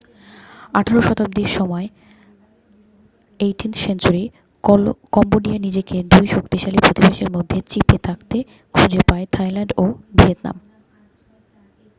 আঠারো শতাব্দীর সময়18th century কম্বোডিয়া নিজেকে 2 শক্তিশালী প্রতিবেশীর মধ্যে চিপে থাকতে খুঁজে পায় থাইল্যান্ড ও ভিয়েতনাম।